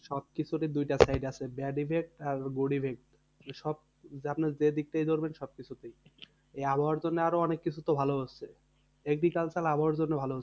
সবকিছুরই দুইটা side আছে bad effect আর good effect. সব আপনার যে দিক থেকেই ধরবেন সবকিছুতেই। এই আবহাওয়ার জন্যে আরো অনেককিছু তো ভালো হচ্ছে। agriculture আবহাওয়ার জন্য ভালো হচ্ছে।